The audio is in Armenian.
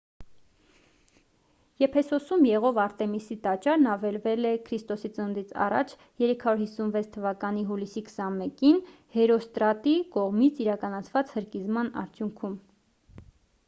եփեսոսում եղող արտեմիսի տաճարն ավերվել է ք.ծ.ա. 356 թվականի հուլիսի 21-ին հերոստրատի կողմից իրականացված հրկիզման արդյունքում